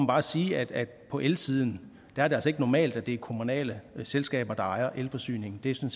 bare sige at på elsiden er det altså ikke normalt at det er kommunale selskaber der ejer elforsyningen det